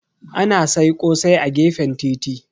Ana sai ƙosai a gefen titi.